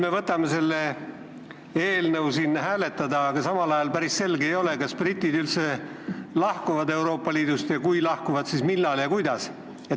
Me võtame selle eelnõu siin hääletamisele, aga samal ajal ei ole päris selge, kas britid üldse lahkuvad Euroopa Liidust ja kui lahkuvad, siis millal ja kuidas.